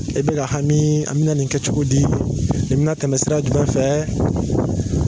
E bɛ ka hami an bɛna nin kɛ cogo di nin bɛna tɛmɛ sira jumɛn fɛ